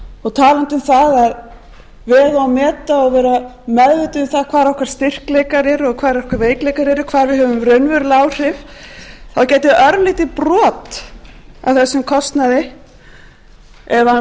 og talandi um það að vega og meta og vera meðvituð um það hvar okkar styrkleikar eru og hvar okkar veikleikar eru og hvar við höfum raunverulega áhrif þá getur örlítið brot af þessum kostnaði ef hann